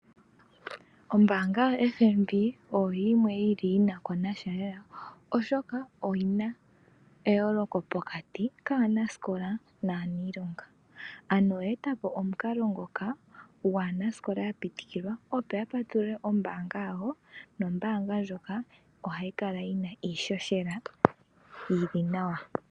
Ombaanga yo FNB oyo yimwe yili konasha Oshoka oyina eyooloko pokati kaanasikola naaniilonga ano oye etapo omukalo ngoka gwaanasikola ya pitikilwa opo ya patulule ombaanga yawo nombaanga ndjoka ohayi kala yina iishoshela yili nawa.